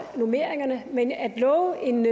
normeringerne men at love en